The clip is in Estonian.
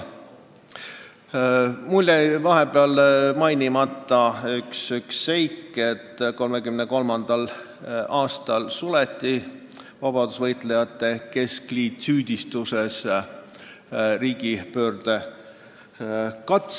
Mul jäi vahepeal mainimata üks seik: 1934. aasta alguses vabadussõjalaste keskliit suleti, süüdistatuna riigipöördekatses.